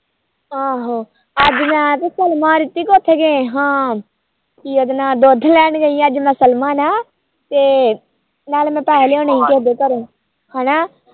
ਆਹੋ ਅੱਜ ਹਾ ਦੁਧ ਲੈਣ ਗਈ ਅੱਜ ਮੈ ਤੇ ਨਾਲੇ ਮੈ ਪੈਹੇ ਲਿਉਣੇ ਸੀ ਉਹਦੇ ਘਰੋ ਹਨਾ